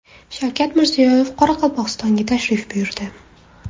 Shavkat Mirziyoyev Qoraqalpog‘istonga tashrif buyurdi.